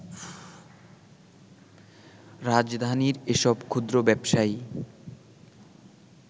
রাজধানীর এসব ক্ষুদ্র ব্যবসায়ী